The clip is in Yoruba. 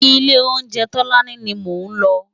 Ilé óunjé Tolani ni mó n lò